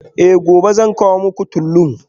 Eh gobe zan kawo muku tulun